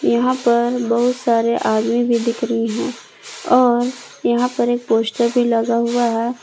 यहां पर बहुत सारे आदमी भी दिख रही है और यहां पर एक पोस्टर भी लगा हुआ है।